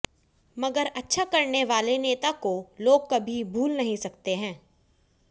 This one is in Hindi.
मगर अच्छा करने वाले नेता को लोग कभी भूल नहीं सकते है